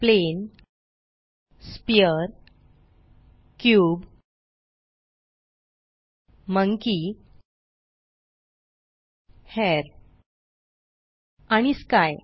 plain sphere cube monkey hair आणि sky